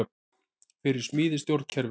Fyrir smíði stjórnkerfis